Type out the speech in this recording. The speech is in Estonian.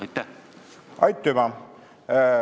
Aitüma!